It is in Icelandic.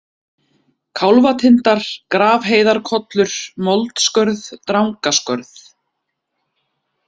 Kálfatindar, Grafheiðarkollur, Moldskörð, Drangaskörð